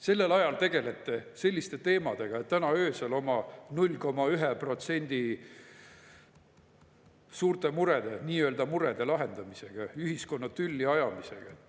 Sellel ajal tegelete selliste teemadega, täna öösel oma 0,1% suurte murede, nii-öelda murede lahendamisega, ühiskonna tülli ajamisega.